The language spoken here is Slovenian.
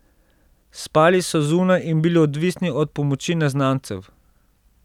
Spali so zunaj in bili odvisni od pomoči neznancev.